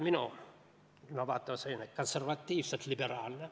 Minu ilmavaade on konservatiivselt liberaalne.